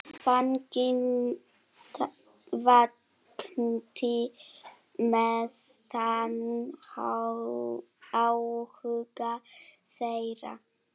Fanginn vakti mestan áhuga þeirra.